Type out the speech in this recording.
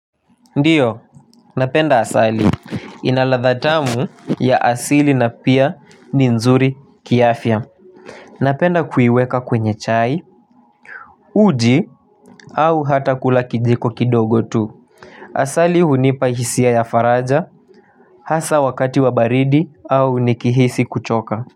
Ndiyo napenda asali ina ladha tamu ya asili na pia ni nzuri ki afya napenda kuiweka kwenye chai uji au hata kula kijiko kidogo tu asali hunipa hisia ya faraja hasa wakati wa baridi au nikihisi kuchoka.